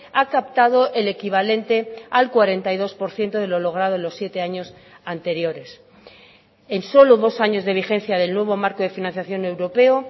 ha captado el equivalente al cuarenta y dos por ciento de lo logrado en los siete años anteriores en solo dos años de vigencia del nuevo marco de financiación europeo